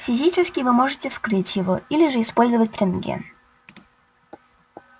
физически вы можете вскрыть его или же использовать рентген